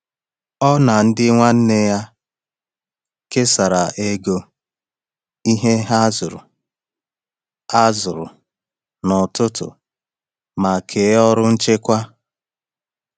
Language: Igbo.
Ọ na ndị nwanne ya kesara ego ihe a zụrụ a zụrụ n’ọtụtù ma kee ọrụ nchekwa.